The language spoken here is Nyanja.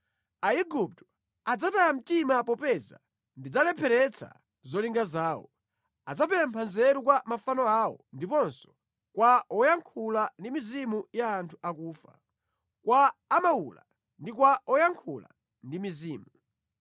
Aigupto adzataya mtima popeza ndidzalepheretsa zolinga zawo; adzapempha nzeru kwa mafano awo ndiponso kwa woyankhula ndi mizimu ya anthu akufa, kwa amawula ndi kwa oyankhula ndi mizimu.